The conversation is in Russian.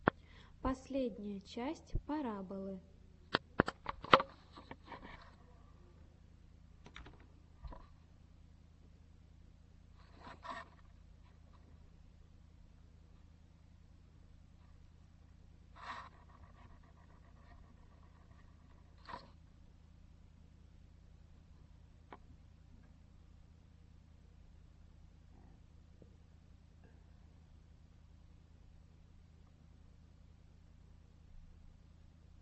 последняя часть пораболы